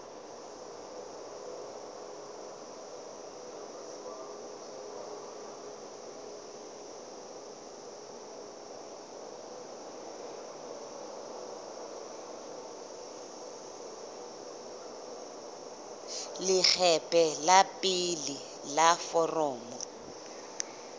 leqephe la pele la foromo